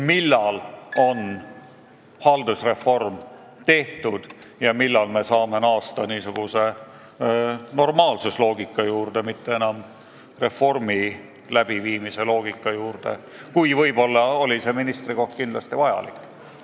Millal on haldusreform tehtud ja me saame naasta normaalse loogika juurde, mitte enam reformi loogika juurde, kus see ministrikoht võis tõesti olla vajalik?